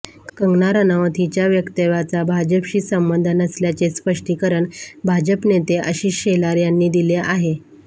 कंगना रनौत हिच्या वक्तव्याचा भाजपशी संबंध नसल्याचे स्पष्टीकरण भाजप नेते आशिष शेलार यांनी दिले आहे